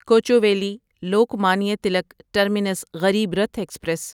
Kochuveli Lokmanya Tilak terminus Garib Rath express